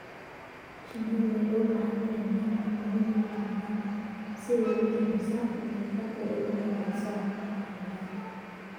Shinnidu waxay u baahan tahay meelo cimilodeedu deggan tahay si ay u yarayso diiqada oo ay u hagaajiso caafimaadkeeda.